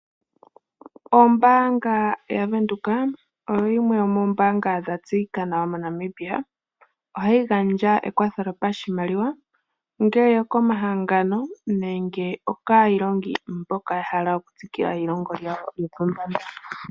Ombaanga ya Venduka oyo yimwe yomoombanga dha tseyika nawa moNamibia, ohayi gandja ekwatho lyopashimaliwa, ongele okomahangano nenge o kaa iilongi mboka ya hala okutsikila eilongo lawo lopombanda.